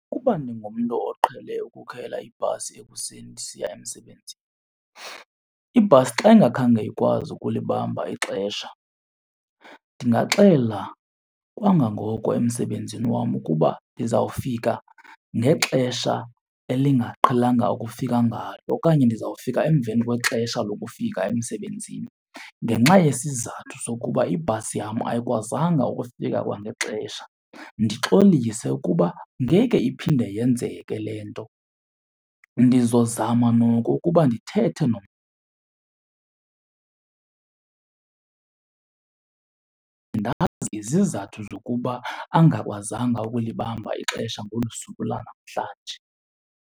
Ukuba ndingumntu oqhele ukukhwela ibhasi ekuseni ndisiya emsebenzini, ibhasi xa ingakhange ikwazi ukulibamba ixesha ndingaxela kwangangoko emsebenzini wam ukuba ndizawufika ngexesha elingaqhelanga ukufika ngalo okanye ndizawufika emveni kwexesha lokufika emsebenzini ngenxa yesizathu sokuba ibhasi yam ayikwazanga ukufika kwangexesha. Ndixolise ukuba ngeke iphinde yenzeke le nto, ndizozama noko ukuba ndithethe ndazi izizathu zokuba angakwazanga ukulibamba ixesha ngolu suku lanamhlanje.